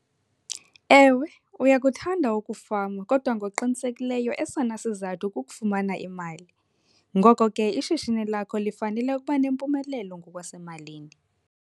Ewe, uyakuthanda ukufama kodwa ngokuqinisekileyo esona sozathu kukufumana imali, ngoko ke ishishini lakho lifanele ukuba nempumelelo ngokwasemalini.